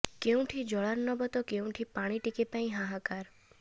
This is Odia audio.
କେଉଁଠି ଜଳାର୍ଣ୍ଣବ ତ କେଉଁଠି ପାଣି ଟିକେ ପାଇଁ ହାହାକାର